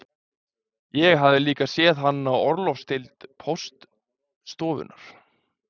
Ég hafði líka séð hann á orlofsdeild póststofunnar